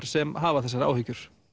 sem hafa þessar áhyggjur